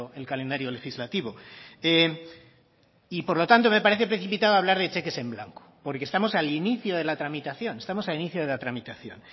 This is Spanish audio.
el calendario legislativo y por lo tanto me parece precipitado hablar de cheques en blanco porque estamos al inicio de la tramitación